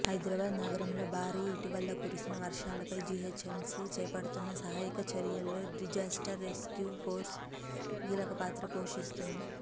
హైదరాబాద్ నగరంలో భారీ ఇటీవల కురిసిన వర్షాలపై జీహెచ్ఎంసీ చేపడుతున్న సహాయక చర్యల్లో డిజాస్టర్ రెస్క్యూ ఫోర్స్ కీలకపాత్ర పోషిస్తున్నది